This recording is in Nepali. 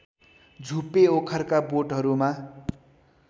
झुप्पे ओखरका बोटहरूमा